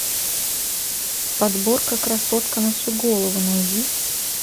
подборка красотка на всю голову найди